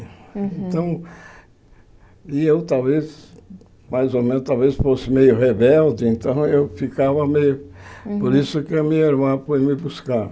Então e eu talvez, mais ou menos, talvez fosse meio rebelde, então eu ficava meio... Por isso que a minha irmã foi me buscar.